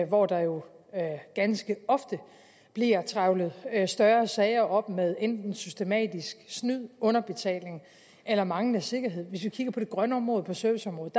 hvor der jo ganske ofte bliver trævlet større sager op med enten systematisk snyd underbetaling eller manglende sikkerhed hvis vi kigger på det grønne område på serviceområdet